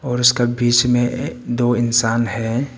और उसका बीच में अ दो इंसान है।